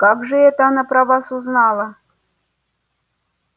как же это она про вас узнала